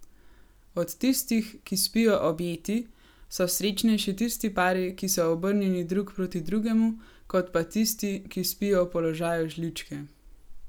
Od tistih, ki spijo objeti, so srečnejši tisti pari, ki so obrnjeni drug proti drugemu kot pa tisti, ki spijo v položaju žličke.